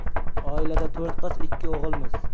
Oilada to‘rt qiz, ikki o‘g‘ilmiz.